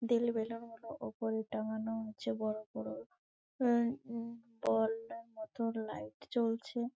দিল বেলুন গুলো উপরে টাংগানো আছে বড়ো বড়ো। উম উম বলের মতো লাইট জ্বলছে।